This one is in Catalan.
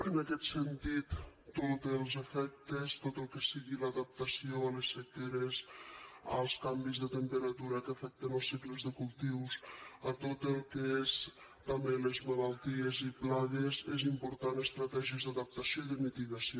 en aquest sentit tots els efectes tot el que sigui l’adaptació a les sequeres als canvis de temperatura que afecten els cicles de cultius a tot el que són també les malalties i plagues són importants estratègies d’adaptació i de mitigació